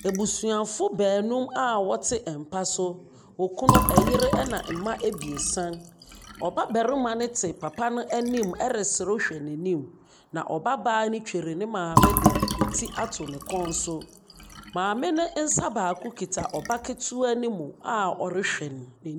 Abusuafo baanum a ɔte mpa so. Ɔkunu, ɛyere ɛna mma ebiesan. Ɔba barima no te papa n'anim ɛresrew hwɛ n'anim. Na ɔba baa no twere ne maame de ti ato ne kɔn so. Maame ne nsa baako kuta ɔba ketewa ne mu a ɔrehwɛ no.